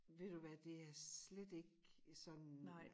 Ved du hvad det er slet ikke sådan